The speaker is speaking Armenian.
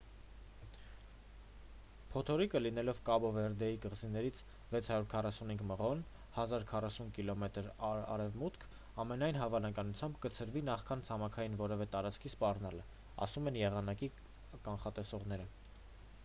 փոթորիկը լինելով կաբո վերդեի կղզիներից 645 մղոն 1040 կմ արևմուտք ամենայն հավանականությամբ կցրվի նախքան ցամաքային որևէ տարածքի սպառնալը,- ասում են եղանակը կանխատեսողները: